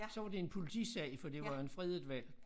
Så var det en politisag for det var jo en fredet hval